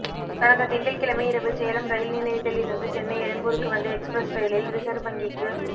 கடந்த திங்கள்கிழமை இரவு சேலம் ரயில் நிலையத்தில் இருந்து சென்னை எழும்பூருக்கு வந்த எக்ஸ்பிரஸ் ரயிலில் ரிசர்வ் வங்கிக்கு